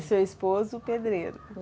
E seu esposo, pedreiro?